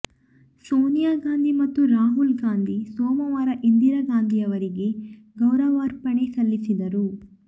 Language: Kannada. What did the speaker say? ಸೋನಿಯಾ ಗಾಂಧಿ ಮತ್ತು ರಾಹುಲ್ ಗಾಂಧಿ ಸೋಮವಾರ ಇಂದಿರಾ ಗಾಂಧಿಯವರಿಗೆ ಗೌರವಾರ್ಪಣೆ ಸಲ್ಲಿಸಿದರು